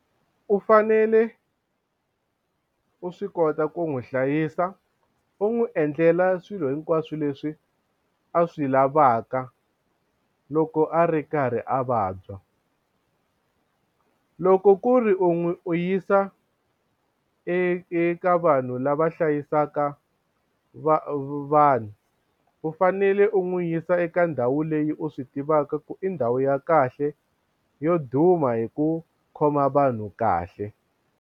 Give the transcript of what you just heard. U fanele u swi kota ku n'wi hlayisa u n'wi endlela swilo hinkwaswo leswi a swi lavaka loko a ri karhi a vabya loko ku ri u n'wi u yisa eka vanhu lava hlayisaka vanhu u fanele u n'wi yisa eka ndhawu leyi u swi tivaka ku i ndhawu ya kahle yo duma hi ku khoma vanhu kahle.